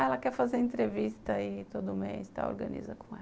Ah, ela quer fazer entrevista aí todo mês tal, organiza com ela.